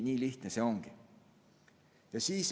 Nii lihtne see ongi.